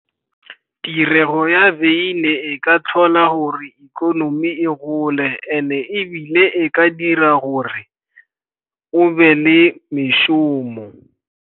Tirego ya wyn e a tlhola gore ikonomi e gole, and-e ebile e ka dira gore go be le mešomo.